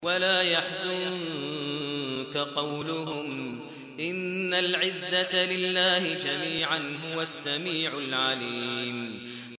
وَلَا يَحْزُنكَ قَوْلُهُمْ ۘ إِنَّ الْعِزَّةَ لِلَّهِ جَمِيعًا ۚ هُوَ السَّمِيعُ الْعَلِيمُ